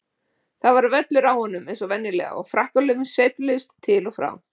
Það var völlur á honum eins og venjulega og frakkalöfin sveifluðust til og frá.